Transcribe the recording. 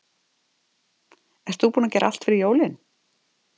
Ert þú búinn að gera allt fyrir jólin?